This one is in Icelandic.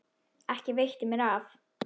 Ekki veitti mér af.